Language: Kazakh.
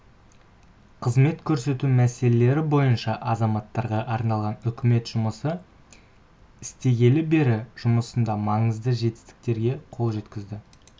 қызмет көрсету мәселелері бойынша азаматтарға арналған үкімет жұмыс істегелі бері жұмысында маңызды жетістіктерге қол жеткізді